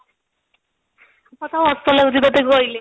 ମତେ ହସ ଲାଗୁଛି ତତେ କହିଲେ